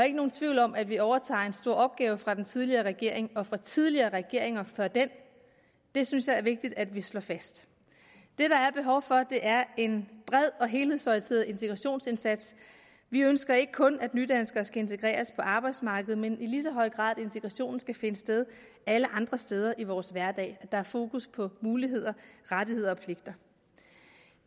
ikke nogen tvivl om at vi overtager en stor opgave fra den tidligere regering og fra tidligere regeringer før den det synes jeg er vigtigt at vi slår fast det der er behov for er en bred og helhedsorienteret integrationsindsats vi ønsker ikke kun at nydanskere skal integreres på arbejdsmarkedet men i lige så høj grad at integrationen skal finde sted alle andre steder i vores hverdag at der er fokus på muligheder rettigheder